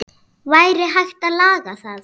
Væri hægt að laga það?